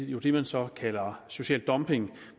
jo det man så kalder social dumping